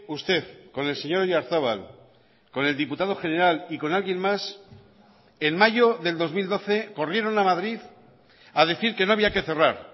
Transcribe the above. usted con el señor oyarzabal con el diputado general y con alguien más en mayo del dos mil doce corrieron a madrid a decir que no había que cerrar